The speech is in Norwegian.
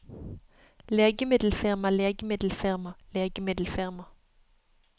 legemiddelfirma legemiddelfirma legemiddelfirma